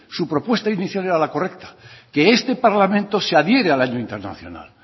su propuesta inicial era la correcta que este parlamento se adhiere al año internacional